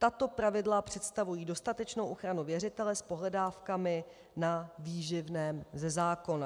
Tato pravidla představují dostatečnou ochranu věřitele s pohledávkami na výživném ze zákona.